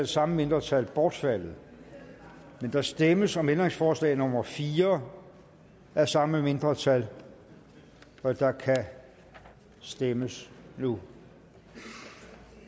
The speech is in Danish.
samme mindretal bortfaldet der stemmes om ændringsforslag nummer fire af samme mindretal og der kan stemmes nu